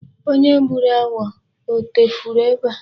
Onye gburu agwọ a etufuru ebe a?